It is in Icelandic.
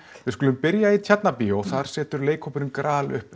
við skulum byrja í Tjarnarbíó þar setur leikhópurinn gral upp